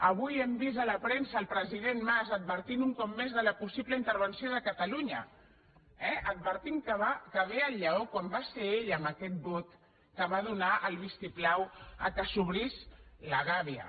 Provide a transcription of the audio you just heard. avui hem vist a la premsa el president mas advertint un cop més de la possible intervenció de catalunya eh advertint que ve el lleó quan va ser ell amb aquest vot que va donar el vistiplau que s’obrís la gàbia